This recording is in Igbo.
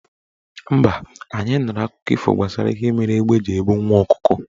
Mba, anyị nụrụ akụkọ ifo gbasara ihe mere égbé ji ebu nwa ọkụkọ.